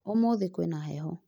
umuthi kwina heho